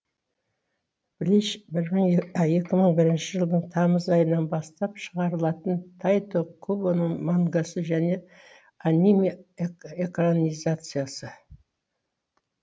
блич екі мың бір жылдың тамыз айынан бастап шығарылатын тайто кубоның мангасы және аниме экранизациясы